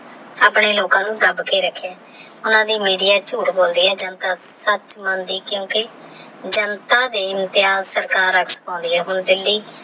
ਆਪਣੇ ਲੋਕਾ ਨੂ ਦੱਬ ਕੇ ਰਖ੍ਯਾ ਉਹਨਾ ਦੀ ਮੇੜਿਆ ਝੂਟ ਬੋਲਦੀ ਆਹ ਜਨਤਾ ਸਚ ਮੰਦੀ ਆਹ ਕੁਕੀ ਜਨਤਾ ਦੇ ਇਮ੍ਤੇਹਾ ਸਰਕਾਰ ਆਖ ਚ ਪੌਨਤੀ ਆਹ